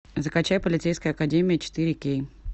закачай полицейская академия четыре кей